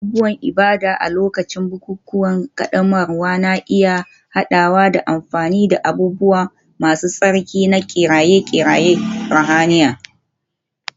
Abubuwan ibada a lokacin bukukuwan ƙaddamarwa na iya haɗawa da amfani da abubuwa masu tsarki da kiraye-kirayen ruhaniya.